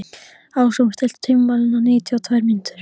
Ásrún, stilltu tímamælinn á níutíu og tvær mínútur.